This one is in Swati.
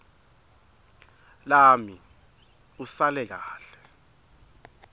lami usale kahle